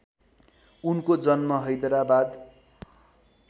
उनको जन्म हैदराबाद